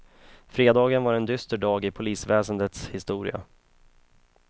Fredagen var en dyster dag i polisväsendets historia.